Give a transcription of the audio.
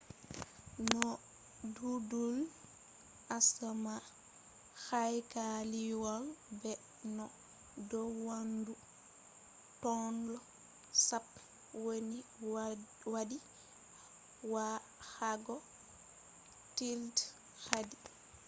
noo duulee asama haykaliwol be no dow weendu tonle sap woni wadi wa’ago tillde haadii